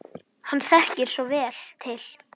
Hann þekkir svo vel til.